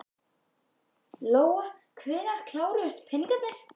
Lóa: Hvenær kláruðust peningarnir?